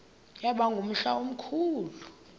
yaba ngumhla omkhulu